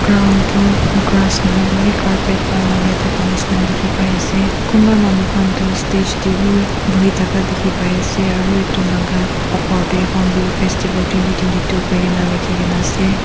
Ground tu grass nahoile beh carpet balaka thaka labeh neshna dekhe pai ase kunbah manu khan tu stage tey beh bohe thaka dekhe pai asearo etu laka upor tey horn bill festival twenty twenty two koina lekhe kena ase.